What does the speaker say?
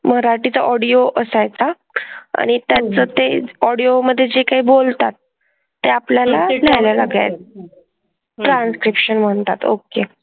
मराठीत audio असायचा. आणि त्यांचं ते audio मधे जे काय बोलतात ते आपल्याला लिहायला लागायचं. Transcription म्हणतात. Okay.